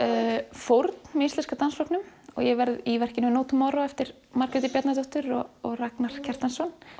fórn með Íslenska dansflokknum og ég verð í verkinu no eftir Margréti Bjarnadóttur og Ragnar Kjartansson